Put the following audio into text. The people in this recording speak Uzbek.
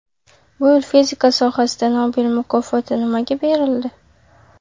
Bu yil fizika sohasida Nobel mukofoti nimaga berildi?.